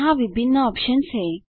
यहाँ विभिन्न ऑप्शन्स हैं